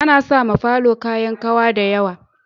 Ana sawa falo kayan kawa da yawa